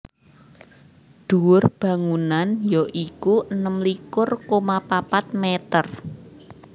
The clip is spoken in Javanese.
Dhuwur bangunan ya iku enem likur koma papat mèter